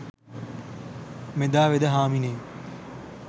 මෙදා වෙද හාමිනේ